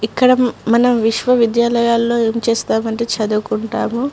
ఇక్కడ మనం విశ్వవిద్యాలయాల్లో ఏం చేస్తామంటే చదువుకుంటాము.